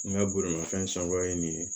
N ka bolimafɛn sankuya ye nin ye